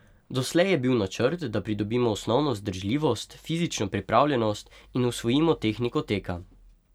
Doslej je bil načrt, da pridobimo osnovno vzdržljivost, fizično pripravljenost in usvojimo tehniko teka.